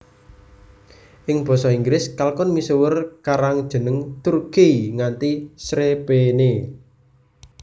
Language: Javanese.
Ing basa Inggris kalkun misuwur karan jeneng Turkey nganti srepéné